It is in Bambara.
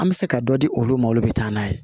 An bɛ se ka dɔ di olu ma olu bɛ taa n'a ye